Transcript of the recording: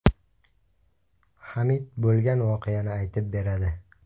Hamid bo‘lgan voqeani aytib beradi.